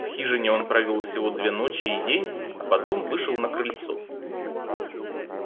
в хижине он провёл всего две ночи и день а потом вышел на крыльцо